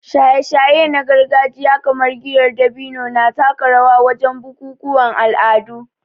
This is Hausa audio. Shaye-shaye na gargajiya kamar giyar dabino na taka rawa wajen bukukuwan al'adu